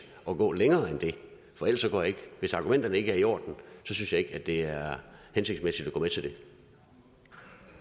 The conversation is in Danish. at gå længere end det for hvis argumenterne ikke er i orden synes jeg ikke at det er hensigtsmæssigt